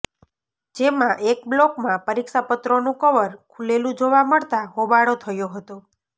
જેમાં એક બ્લોકમાં પરીક્ષા પત્રોનું કવર ખુલેલું જોવા મળતા હોબાળો થયો હતો